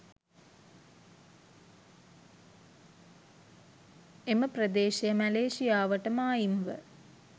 එම ප්‍රදේශය මැලේසියාවට මායිම්ව